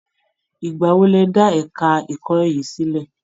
Ì̀gbà wo lọ́ dá ẹ̀ka ẹ̀kọ́ yìí sílẹ̀?